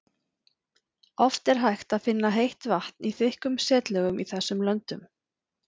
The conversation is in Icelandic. oft er hægt að finna heitt vatn í þykkum setlögum í þessum löndum